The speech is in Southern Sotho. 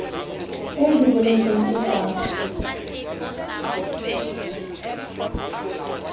e di boletseng e sa